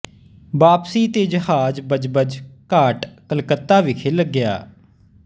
ਵਾਪਸੀ ਤੇ ਜਹਾਜ਼ ਬਜਬਜ ਘਾਟ ਕਲਕੱਤਾ ਵਿਖੇ ਲੱਗਿਆ